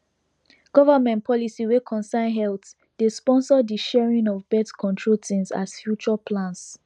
government policy wey concern healthdey sponsor the sharing of birthcontrol things as future plans